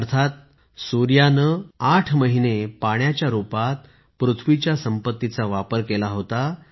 अर्थात सूर्याने 8 महीने पाण्याच्या रूपात पृथ्वीच्या संपत्तीचा वापर केला होता